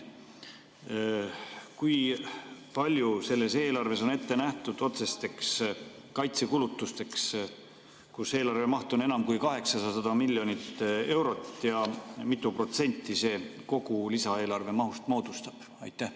Kui palju on selles eelarves ette nähtud otsesteks kaitsekulutusteks, kui eelarve maht on enam kui 800 miljonit eurot, ja kui mitu protsenti see kogu lisaeelarve mahust moodustab?